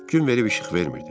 Gün verib işıq vermirdi.